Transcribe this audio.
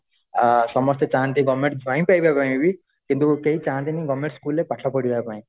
ସମସ୍ତେ ଚାହାନ୍ତି governments ପାଇବା ପାଇଁ କିନ୍ତୁ କେହି ଚାହାନ୍ତି ନି government school ରେ ପାଠ ପଢିବା ପାଇଁ